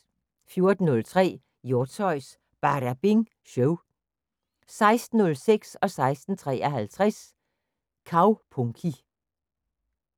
14:03: Hjortshøjs Badabing Show 16:06: Kaupunki 16:53: Kaupunki